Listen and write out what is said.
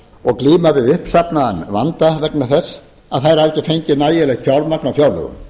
og glíma við uppsafnaðan vanda vegna þess að þær hafa ekki fengið nægilegt fjármagn á fjárlögum